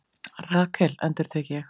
Rakel endurtek ég?